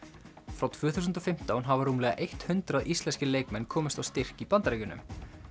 frá tvö þúsund og fimmtán hafa rúmlega eitt hundrað íslenskir leikmenn komist á styrk í Bandaríkjunum